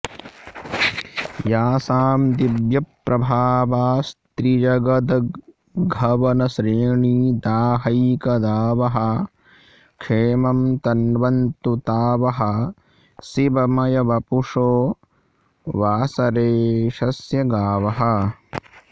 यासां दिव्यप्रभावस्त्रिजगदघवनश्रेणिदाहैकदावः क्षेमं तन्वन्तु ता वः शिवमयवपुषो वासरेशस्य गावः